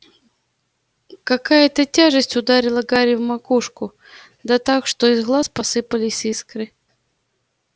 какая-то тяжесть ударила гарри в макушку да так что из глаз посыпались искры